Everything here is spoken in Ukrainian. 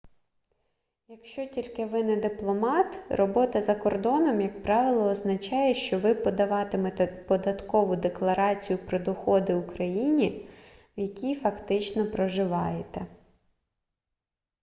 якщо тільки ви не дипломат робота за кордоном як правило означає що ви подаватимете податкову декларацію про доходи у країні в якій фактично проживаєте